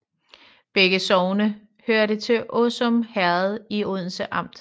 Begge sogne hørte til Åsum Herred i Odense Amt